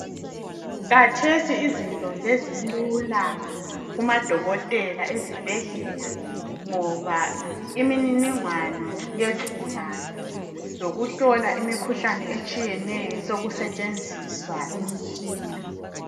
Khathesi izinto sezilula kumadokotela ezibhedlela ngoba imininingwano yezigulani lokuhlola imikhuhlane etshiyeneyo sokusetshenziswa imitshina.